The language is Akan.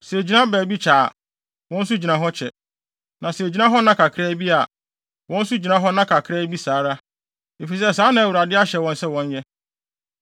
Sɛ egyina baabi kyɛ a, wɔn nso gyina hɔ kyɛ. Na sɛ egyina hɔ nna kakraa bi a, wɔn nso gyina hɔ nna kakraa bi saa ara, efisɛ saa na Awurade ahyɛ wɔn sɛ wɔnyɛ.